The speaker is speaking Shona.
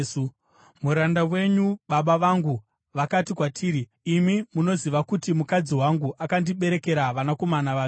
“Muranda wenyu baba vangu vakati kwatiri, ‘Imi munoziva kuti mukadzi wangu akandiberekera vanakomana vaviri.